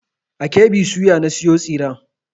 A KB soya na sayo tsiren.